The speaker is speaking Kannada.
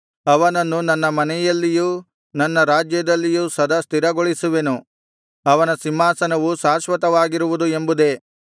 ಅವನನ್ನು ನನ್ನ ಮನೆಯಲ್ಲಿಯೂ ನನ್ನ ರಾಜ್ಯದಲ್ಲಿಯೂ ಸದಾ ಸ್ಥಿರಗೊಳಿಸುವೆನು ಅವನ ಸಿಂಹಾಸನವು ಶಾಶ್ವತವಾಗಿರುವುದು ಎಂಬುದೇ